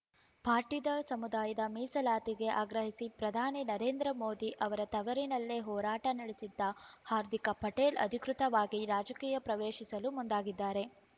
ಪಾಟೀದಾರ್ ಸಮುದಾಯದ ಮೀಸಲಾತಿಗೆ ಆಗ್ರಹಿಸಿ ಪ್ರಧಾನಿ ನರೇಂದ್ರ ಮೋದಿ ಅವರ ತವರಿನಲ್ಲೇ ಹೋರಾಟ ನಡೆಸಿದ್ದ ಹಾರ್ದಿಕ ಪಟೇಲ್ ಅಧಿಕೃತವಾಗಿ ರಾಜಕೀಯ ಪ್ರವೇಶಿಸಲು ಮುಂದಾಗಿದ್ದಾರೆ